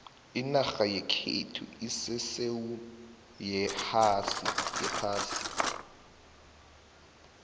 inarha yekhethu isesewu yeohasi